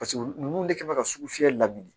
Paseke ninnu de kɛ mɛ ka su fiyɛ la bili